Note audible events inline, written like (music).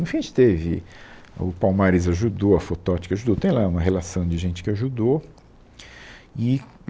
No fim, a gente teve... O Palmares ajudou, a (unintelligible) que ajudou, tem lá uma relação de gente que ajudou e